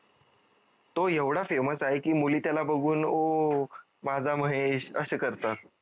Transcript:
तो एवढा famous आहे की मुली त्याला बघून ओ माझा महेश असे करतात